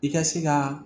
I ka se ka